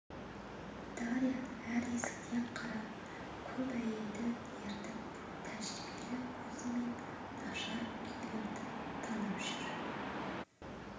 дарья әр есіктен қарап көп әйелді ертіп тәжірибелі көзімен нашар күйлерді танып жүр